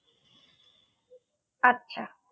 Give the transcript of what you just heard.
আচ্ছা